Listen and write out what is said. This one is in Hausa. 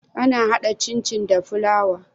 Ana hada cin cin da fulawa?